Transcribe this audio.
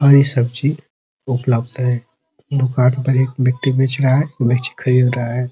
हरी सब्जी उपलब्द है | दुकान पर एक व्यक्ति बेच रहा है | मिर्च खरीद रहा है |